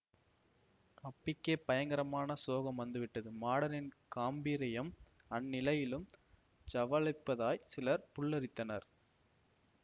அப்பிக்கே பயங்கரமான சோகம் வந்துவிட்டது மாடனின் காம்பீர்யம் அந்நிலையிலும் ஜ்வலிப்பதாய் சிலர் புல்லரித்தனர்